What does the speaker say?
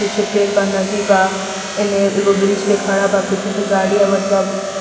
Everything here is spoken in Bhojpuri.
पीछे पेड़ बा नदी बा एन्हें एगो ब्रिज पे खड़ा बा पीछे से गाड़ी आवत बा।